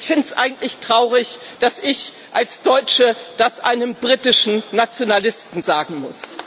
Ich finde es eigentlich traurig, dass ich als Deutsche das einem britischen Nationalisten sagen muss.